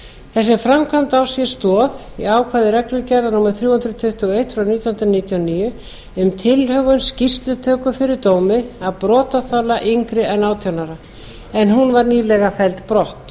þessi framkvæmd á sér stoð í ákvæði reglugerðar númer þrjú hundruð tuttugu og eitt nítján hundruð níutíu og níu um tilhögun skýrslutöku fyrir dómi af brotaþola yngri en átján ára en hún var nýlega felld brott